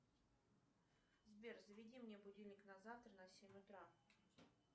сбер заведи мне будильник на завтра на семь утра